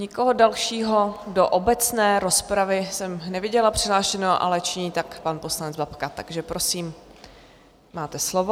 Nikoho dalšího do obecné rozpravy jsem neviděla přihlášeného, ale činí tak pan poslanec Babka, takže prosím, máte slovo.